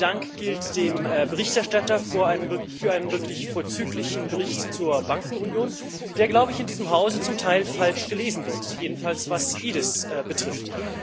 Auch mein Dank gilt dem Berichterstatter für einen wirklich vorzüglichen Bericht zur Bankenunion, der, glaube ich, in diesem Hause zum Teil falsch gelesen wird jedenfalls was EDIS betrifft.